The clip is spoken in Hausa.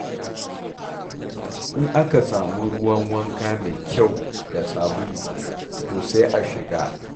In aka samu ruwan wanka mai kyau da sabulu, to sai a shiga.